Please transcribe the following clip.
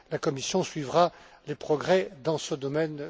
La Commission suivra les progrès dans ce domaine.